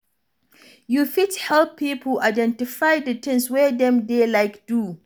You fit help pipo identify di things wey dem dey like do